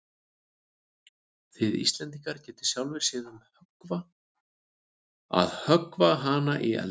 Þið Íslendingar getið sjálfir séð um að höggva hana í eldinn.